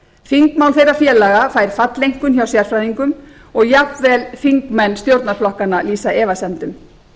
þingmál þeirra félaga fær falleinkunn hjá sérfræðingum og jafnvel þingmenn stjórnarflokkanna lýsa efasemdum